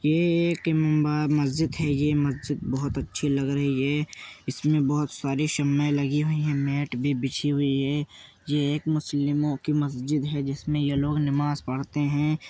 ये एक इम्बा मस्जिद है। ये मस्जिद बहोत अच्छी लग रही है। इसमें बहोत सारी शम्में लगी हुई हैं। मैट भी बिछी हुई है। ये एक मुस्लिमों की मस्जिद है जिसमें ये लोग नमाज़ पढ़ते हैं।